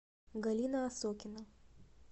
галина осокина